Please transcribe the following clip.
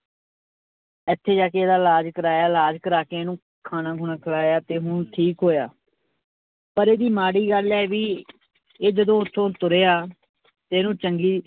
ਇੱਥੇ ਜਾ ਕੇ ਇਹਦਾ ਇਲਾਜ਼ ਕਰਵਾਇਆ ਇਲਾਜ਼ ਕਰਵਾ ਕੇ ਇਹਨੂੰ ਖਾਣਾ ਖੂਣਾ ਖਿਲਾਇਆ ਤੇ ਹੁਣ ਠੀਕ ਹੋਇਆ ਪਰ ਇਹਦੀ ਮਾੜੀ ਗੱਲ ਹੈ ਵੀ ਇਹ ਜਦੋਂ ਉੱਥੋਂ ਤੁਰਿਆ ਤੇ ਇਹਨੂੰ ਚੰਗੀ